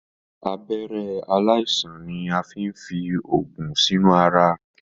Abẹ̀rẹ̀ aláìsàn ni a fín fí oògùn sinu àrà.